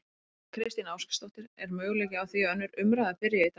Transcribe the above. Þóra Kristín Ásgeirsdóttir: Er möguleiki á því að önnur umræða byrji í dag?